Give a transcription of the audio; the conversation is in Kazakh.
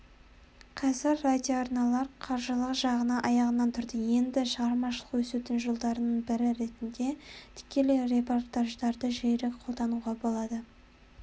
қазір радиоарналар қаржылық жағынан аяғынан тұрды енді шығармашылық өсудің жолдарының бірі ретінде тікелей репортаждарды жиірек қолдануға болады